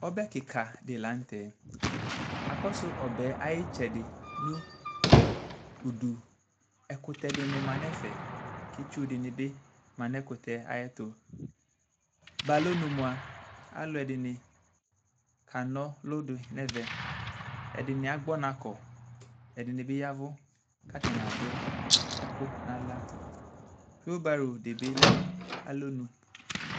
ɔbɛ keka di lantɛ akɔsu ɔbɛ yɛ ayi itsɛdi no udu ɛkutɛ di ni ma n'ɛfɛ k'itsu di ni bi ma n'ɛkutɛ yɛ ayi ɛto ba alɔnu moa alò ɛdini ka n'ɔlu di n'ɛvɛ ɛdini agbɔ ɔna kɔ ɛdini bi ya vu k'atani adu ɛkò n'ala whilbaro di bi lɛ no alɔnu